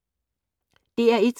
DR1